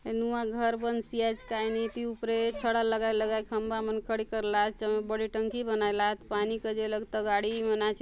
ये नुआ घर बंसी आचे कायनु इति ऊपरे छडा लगाई लगाई करि खंबा मन लगाय ला आत बड़े टंकी बनाय ला आत पानी काजे ए लगे तगाड़ी मन आचे ।